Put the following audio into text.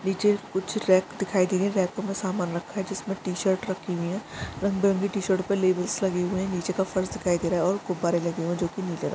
नीचे कुछ लेप दिखाय दे रहा है लेप में कुछ समान टी शर्ट राखी हुई है रंग बिरंगे टी शर्ट पे लेविस लगी हुई है नीचे फर्श दिखाई दे रहा हैऔर निचे गुब्बारे दिखाय दे रहा है जो कि नीला रंग --